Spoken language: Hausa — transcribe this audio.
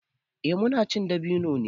Eh muna cin dabino ne.